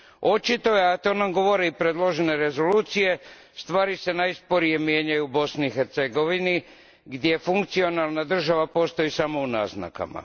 Očito je, a to nam govore i predložene rezolucije, stvari se najsporije mijenjaju u Bosni i Hercegovini, gdje funkcionalna država postoji samo u naznakama.